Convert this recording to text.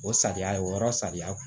O sariya ye o yɔrɔ sariya